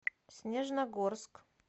снежногорск